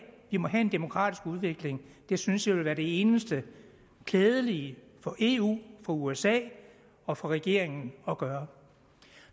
vi må have en demokratisk udvikling det synes jeg vil være det eneste klædelige for eu for usa og for regeringen at gøre